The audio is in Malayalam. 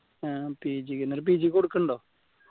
ആഹ് PG PG ക്ക് കൊടുക്കുന്നുണ്ടോ